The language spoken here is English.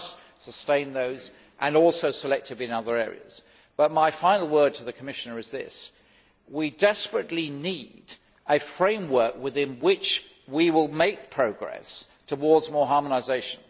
We must sustain those and also certain other areas, but my final word to the Commissioner is this we desperately need a framework within which to make progress towards more harmonisation.